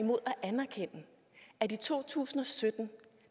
mod at anerkende at i to tusind og sytten